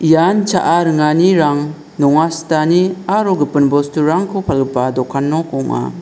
nian cha·a ringanirang nonga sitani aro gipin bosturangko palgipa dokan nok ong·a.